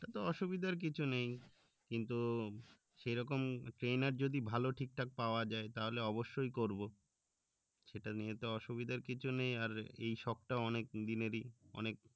তাতে অসুবিধার কিছু নেই কিন্তু সেরকম trainer যদি ভালো ঠিকঠাক পাওয়া যায় তাহলে অবশই করবো সেটা নিয়ে তো অসুবিধার কিছু নেই আর এই শখটা অনেক দিনেরই অনেক